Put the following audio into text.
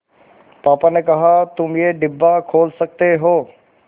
पापा ने कहा तुम ये डिब्बा खोल सकते हो